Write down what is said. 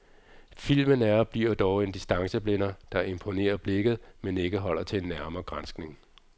Filmen er og bliver dog en distanceblænder, der imponerer blikket, men ikke holder til en nærmere granskning.